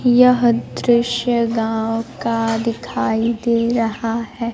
यह दृश्य गांव का दिखाई दे रहा है।